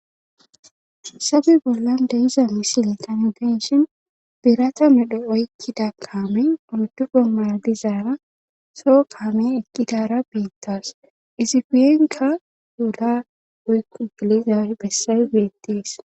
Hayssape bollan de7iza misilea nu be7ishin birata medho oykkida kaame oyddu gomara diza so kaame eqqidaara beetawus izi guyenkka laamera woykko gelira bessay beetes.